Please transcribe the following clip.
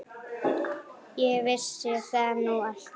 Ég vissi það nú alltaf.